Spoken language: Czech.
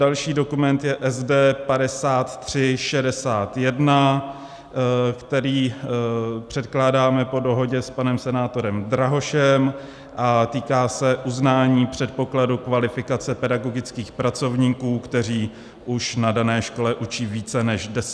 Další dokument je SD 5361, který předkládáme po dohodě s panem senátorem Drahošem, a týká se uznání předpokladu kvalifikace pedagogických pracovníků, kteří už na dané škole učí více než deset let.